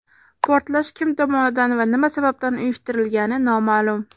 Portlash kim tomonidan va nima sababdan uyushtirilgani noma’lum.